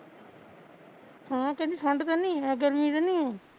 ਹੈਂ ਕਹਿੰਦੀ ਠੰਡ ਤਾਨੀ ਗਰਮੀ ਤਾਨੀ ਐ